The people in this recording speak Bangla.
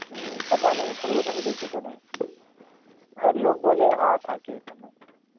উম সেটা নেই খরগোশ আমি দেখিতো নাই. আর লোক বলে হা থাকে এখানে.